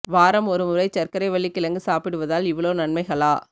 வாரம் ஒரு முறை சர்க்கரை வள்ளி கிழங்கு சாப்பிடுவதால் இவளோ நன்மைகளா